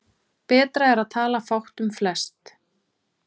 Betra er að tala fátt um flest.